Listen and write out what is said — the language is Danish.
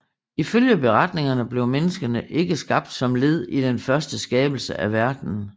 Ifølge beretningerne blev menneskene ikke skabt som led i den første skabelse af verden